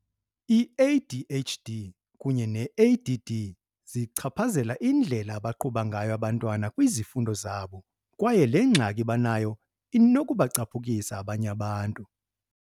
I-ADHD kunye ne-ADD zichaphazela indlela abaqhuba ngayo abantwana kwizifundo zabo kwaye le ngxaki banayo inokubacaphukisa abanye abantu.